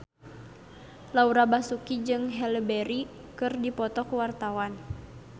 Laura Basuki jeung Halle Berry keur dipoto ku wartawan